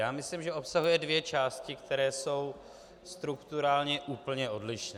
Já myslím, že obsahuje dvě části, které jsou strukturálně úplně odlišné.